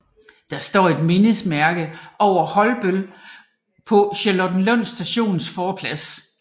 Der står et mindesmærke over Holbøll på Charlottenlund Stations forplads